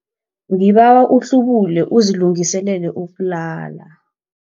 Ngibawa uhlubule uzilungiselele ukulala.